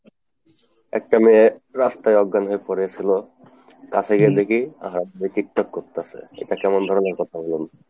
একটা মেয়ে রাস্তায় অজ্ঞান হয়ে পরে ছিল, কাছে গিয়ে দেখি আহা মেয়ে tiktok করতাসে, এটা কেমন ধরণের কথা বলুন।